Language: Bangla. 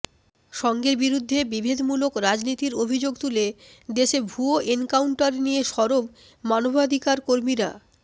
সংঘের বিরুদ্ধে বিভেদমূলক রাজনীতির অভিযোগ তুলে দেশে ভুয়ো এনকাউন্টার নিয়ে সরব মানবাধিকার কর্মীরা